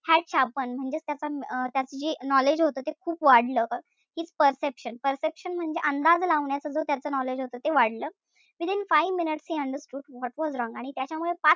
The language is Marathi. Had sharpened म्हणजेच त्याचा अं त्याच जी knowledge जे होत ते खूप वाढलं. His perception perception म्हणजे अंदाज लावण्याचा जो त्याच knowledge होत ते वाढलं. Within five minutes he understood what was wrong आणि त्याच्यामुळे,